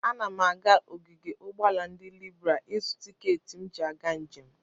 Ana m aga ogige ụgbọala ndị Libra ịzụ tikeeti m ji aga njem.